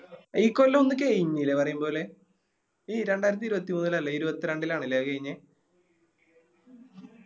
ഈ കൊല്ലോ ഒന്ന് കയിഞ്ഞില്ലേ പറയുംപോലെ ഈ രണ്ടായിരത്തി ഇരുപത്തി മൂന്നിലല്ലേ ഇരുപത്രണ്ടിലാണ് ലെ അത് കയിഞ്ഞേ